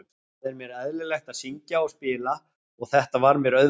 Það er mér eðlilegt að syngja og spila og þetta var mér auðvelt.